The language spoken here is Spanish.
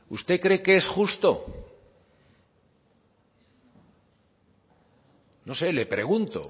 usted cree que es justo no sé le pregunto